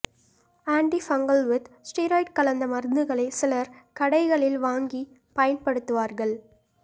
anti fungal with steroid கலந்த மருந்துகளை சிலர் கடைகளில் வாங்கிப் பயன்படுத்துவார்கள்